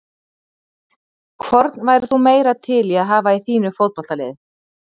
Hvorn værir þú meira til í að hafa í þínu fótboltaliði?